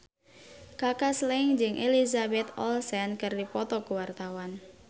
Kaka Slank jeung Elizabeth Olsen keur dipoto ku wartawan